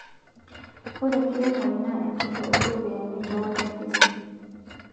Ore enkiremore na enchoro oo ropiyiani too wakimbisi